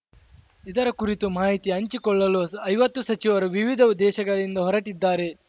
ಇದರ ಕುರಿತು ಮಾಹಿತಿ ಹಂಚಿಕೊಳ್ಳಲು ಐವತ್ತು ಸಚಿವರು ವಿವಿಧ ದೇಶಗಳಿಂದ ಹೊರಟಿದ್ದಾರೆ